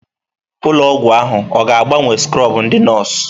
Ụlọ ọgwụ ahụ ọ ga-agbanwe skrọbụ ndị nọọsụ?